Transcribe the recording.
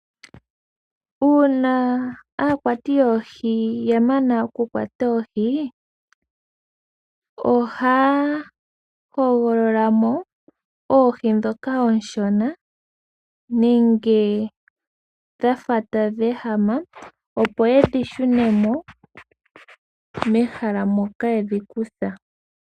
Uuna aakwati yoohi ya mana oku kwata oohi, ohaya hogolola mo oohi ndhoka oonshona nenge dhafa tadhi ehama, opo ye dhi shune mo mehala moka ye dhi kutha.